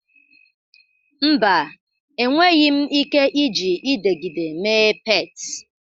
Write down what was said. Mba, enweghị m ike iji ịdegịde mee pet